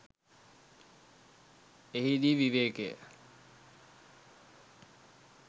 එහිදී විවේකය